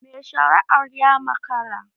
Mai shari'ar ya makara